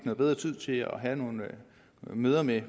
bedre tid til at have nogle møder med